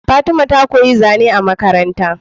Fatima ta koyi zane a Makaranta